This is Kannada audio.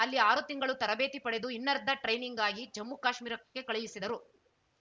ಅಲ್ಲಿ ಆರು ತಿಂಗಳು ತರಬೇತಿ ಪಡೆದು ಇನ್ನರ್ಧ ಟ್ರೈನಿಂಗ್‌ಗಾಗಿ ಜಮ್ಮುಕಾಶ್ಮೀರಕ್ಕೆ ಕಳುಹಿಸಿದರು